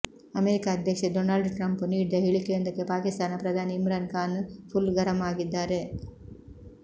America ಅಧ್ಯಕ್ಷ Donald Trump ನೀಡಿದ ಹೇಳಿಕೆಯೊಂದಕ್ಕೆ ಪಾಕಿಸ್ತಾನ ಪ್ರಧಾನಿ ಇಮ್ರಾನ್ ಖಾನ್ ಫುಲ್ ಗರಂ ಆಗಿದ್ದಾರೆ